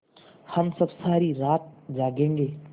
हम सब सारी रात जागेंगे